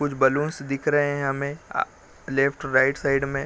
कुछ बैलून दिख रहे हैं हमें आ लेफ्ट - राइट साइड में --